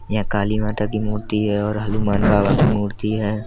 ये काली माता कि मूर्ति है और हनुमान बाबा की मूर्ति है।